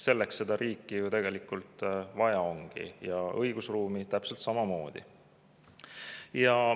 Selleks seda riiki ju tegelikult vaja ongi, ja õigusruumi täpselt samamoodi.